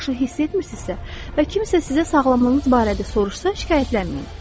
hiss etmirsinizsə və kimsə sizə sağlamlığınız barədə soruşsa şikayətlənməyin.